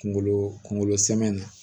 Kunkolo kunkolo sɛmɛnni na